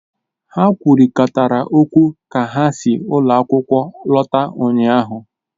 Ha kwurịtara okwu ka ha si ụlọ akwụkwọ lọta ụnyahụ